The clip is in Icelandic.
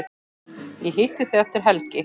Ég hitti þig eftir helgi.